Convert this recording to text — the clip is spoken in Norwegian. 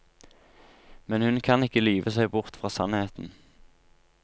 Men hun kan ikke lyve seg bort fra sannheten.